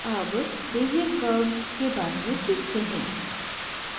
अब bezier curves के बारे में सीखते हैं